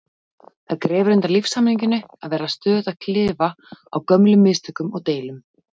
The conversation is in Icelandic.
Það grefur undan lífshamingjunni að vera stöðugt að klifa á gömlum mistökum og deilum.